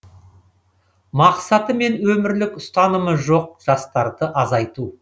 мақсаты мен өмірлік ұстанымы жоқ жастарды азайту